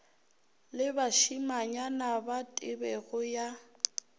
le bašimanyana ba tebego ya